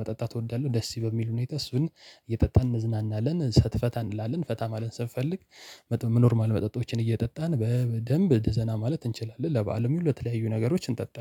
መጠጣት እወዳለሁ። ደስ በሚል ሁኔታ እሱን እየጠጣን እንዝናናለን ፈታ እንላለን ፈታ ማለት ስንፈልግ። ኖርማል መጠጦችን እየጠጣን በደንብ ዘና ማለት እንችላለን። ለባአልም ለተለያዩ ነገሮች እንጠጣለን